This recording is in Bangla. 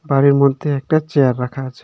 বাড়ির মধ্যে একটা চেয়ারা রাখা আছে।